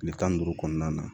Kile tan ni duuru kɔnɔna na